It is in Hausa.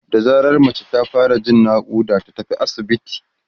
da zarar mace ta fara Jin ciwon naƙuda ta tafi asibiti